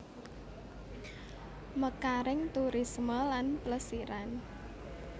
Mekaring turisme lan plesiran